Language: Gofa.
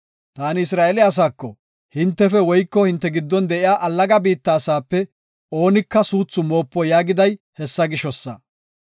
Taani Isra7eele asaako, hintefe woyko hinte giddon de7iya allaga biitta asaape oonika suuthu moopo yaagiday hessa gishosa.